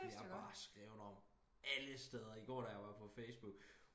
det er bare skrevet om alle steder igår da jeg var på facebook